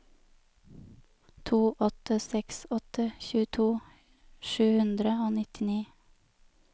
to åtte seks åtte tjueto sju hundre og nittini